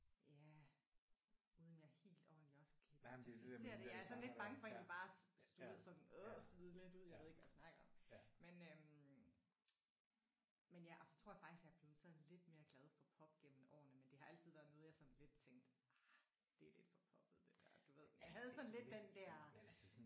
Ja uden at jeg helt ordenligt også kan identificere det jeg er sådan lidt bange for egentlig bare du ved sådan øj smide lidt ud jeg ved ikke hvad jeg snakker om men øh men ja og så tror jeg faktisk jeg er blevet sådan lidt mere glad for pop gennem årene men det har altid været noget jeg sådan lidt tænkte ah det er lidt for poppet det der du ved. Jeg havde sådan lidt den der